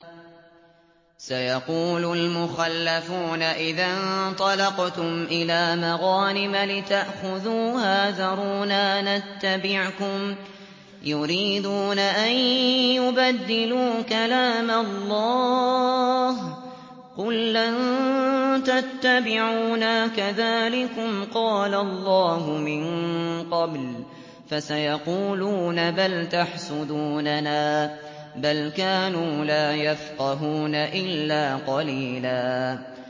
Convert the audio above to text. سَيَقُولُ الْمُخَلَّفُونَ إِذَا انطَلَقْتُمْ إِلَىٰ مَغَانِمَ لِتَأْخُذُوهَا ذَرُونَا نَتَّبِعْكُمْ ۖ يُرِيدُونَ أَن يُبَدِّلُوا كَلَامَ اللَّهِ ۚ قُل لَّن تَتَّبِعُونَا كَذَٰلِكُمْ قَالَ اللَّهُ مِن قَبْلُ ۖ فَسَيَقُولُونَ بَلْ تَحْسُدُونَنَا ۚ بَلْ كَانُوا لَا يَفْقَهُونَ إِلَّا قَلِيلًا